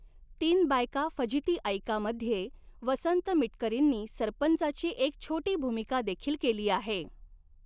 तीन बायका फजिती ऐका मध्ये वसंत मिटकरींनी सरपंचाची एक छॊटी भूमिका देखील केली आहे.